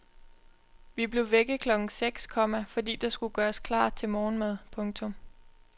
Vi blev vækket klokken seks, komma fordi der skulle gøres klar til morgenmad. punktum